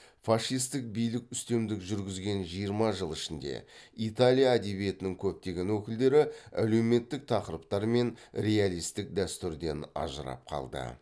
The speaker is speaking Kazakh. фашистік билік үстемдік жүргізген жиырма жыл ішінде италия әдебиетінің көптеген өкілдері әлеуметтік тақырыптар мен реалистік дәстүрден ажырап қалды